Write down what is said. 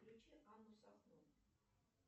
включи анну сахно